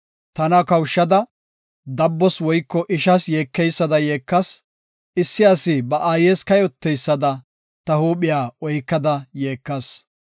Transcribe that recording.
Tana kawushada dabbos woyko ishas yeekeysada yeekas. Issi asi ba aayes kayoteysada ta huuphiya oykada yeekas.